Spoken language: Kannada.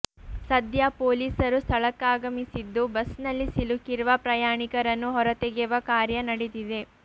ಸದ್ಯ ಪೋಲೀಸರು ಸ್ಥಳಕ್ಕಾಗಮಿಸಿದ್ದು ಬಸ್ ನಲ್ಲಿ ಸಿಲುಕಿರುವ ಪ್ರಯಾಣಿಕರನ್ನು ಹೊರತೆಗೆವ ಕಾರ್ಯ ನಡೆದಿದೆ